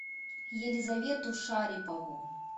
елизавету шарипову